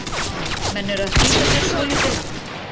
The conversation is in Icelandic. Menn eru að flýta sér svolítið.